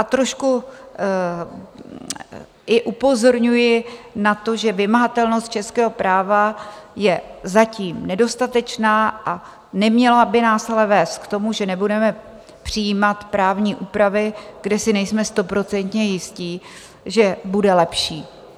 A trošku i upozorňuji na to, že vymahatelnost českého práva je zatím nedostatečná, a neměla by nás ale vést k tomu, že nebudeme přijímat právní úpravy, kde si nejsme stoprocentně jistí, že bude lepší.